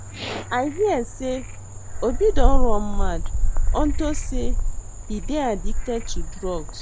I hear say Obi don run mad unto say he dey addicted to drugs